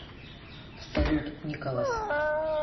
салют николас